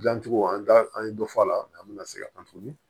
Dilancogo an t'a an ye dɔ fɔ a la an bɛna segin a kan tuguni